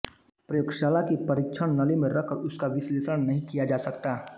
प्रयोगशाला की परीक्षण नली में रखकर उसका विश्लेषण नहीं किया जा सकता